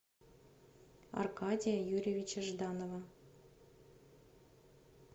аркадия юрьевича жданова